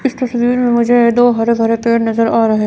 इस तस्वीर में मुझे दो हरे भरे पेड़ नजर आ रहे--